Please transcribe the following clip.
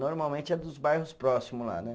Normalmente é dos bairros próximos lá, né?